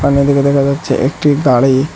এখানে দেখে দেখা যাচ্ছে একটি গাড়ি।